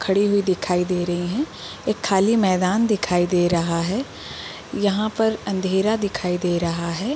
खड़े हुए दिखाई दे रहे हैं एक खाली मैदान दिखाई दे रहा है यहाँ पर अंधेरा दिखाई दे रहा है ।